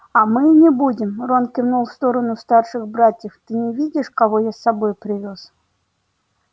а мы и не будем рон кивнул в сторону старших братьев ты не видишь кого я с собой привёз